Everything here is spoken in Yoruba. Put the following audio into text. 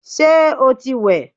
Ṣé o ti wẹ̀?